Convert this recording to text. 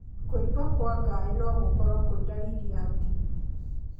Kwimba kwa ngaĩ no gũkorwo kwĩ ndariri ya TB.